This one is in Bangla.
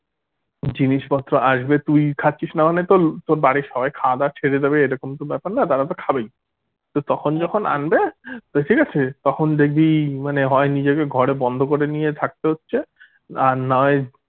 জিনিসপত্র আসবে তুই খাচ্ছিস না মানে তোর তোর বাড়ির সবাই খাওয়াদাওয়া ছেড়ে দেবে এরকম তো ব্যাপার না তারা তো খাবেই তো তখন যখন আনবে তো ঠিক আছে তখন দেখবি মানে হয় নিজেকে ঘরে বন্ধ করে নিয়ে থাকতে হচ্ছে আর না হয়